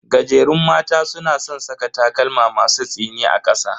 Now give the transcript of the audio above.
Gajerun mata suna san saka takalma masu tsini a kasa.